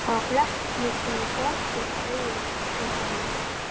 Það var glettnislegur glampi í augunum á henni.